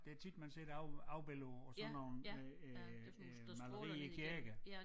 Det tit man ser det af afbilledet på på sådan nogle øh øh øh malerier i æ kirke